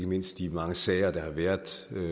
mindst de mange sager der har været